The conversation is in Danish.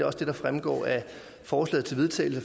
også det der fremgår af forslaget til vedtagelse